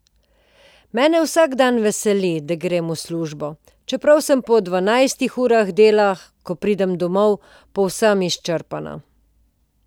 Mene vsak dan veseli, da grem v službo, čeprav sem po dvanajstih urah dela, ko pridem domov, povsem izčrpana.